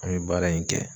An ye baara in kɛ